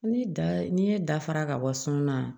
Ni da n'i ye da fara ka bɔ sɔn na